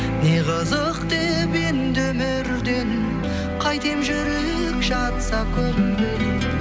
не қызық деп енді өмірден қайтем жүрек жатса көнбей